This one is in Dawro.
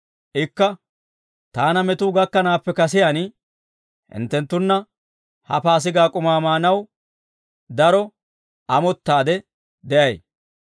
Ikka, «Taana metuu gakkanaappe kasiyaan hinttenttunna ha Paasigaa k'umaa maanaw daro amottaadde de'ay.